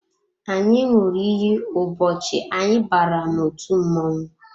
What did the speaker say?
Anyị ṅụrụ iyi ụbọchị anyị bara n'otu mmọnwụ